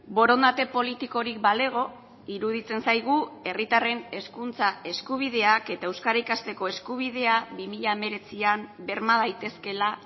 borondate politikorik balego iruditzen zaigu herritarren hezkuntza eskubideak eta euskara ikasteko eskubidea bi mila hemeretzian berma daitezkeela